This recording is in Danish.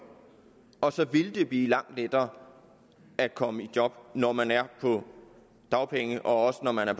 og så ville det blive langt lettere at komme i job når man er på dagpenge også når man er